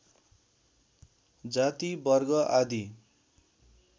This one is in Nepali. जाति वर्ग आदि